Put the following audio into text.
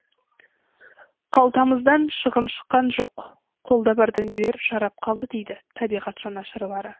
қалтамыздан шығын шыққан жоқ қолда бар дүниелер жарап қалды дейді табиғат жанашырлары